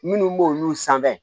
Minnu b'olu san